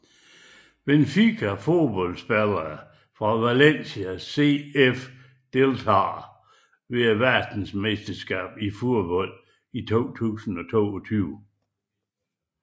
Benfica Fodboldspillere fra Valencia CF Deltagere ved verdensmesterskabet i fodbold 2022